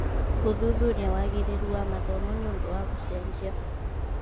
Gũthuthuria wagĩrĩru wa mathomo nĩ ũndũ wa gũcenjia.